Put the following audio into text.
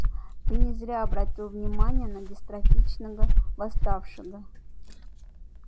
ты не зря обратил внимание на дистрофичного восставшего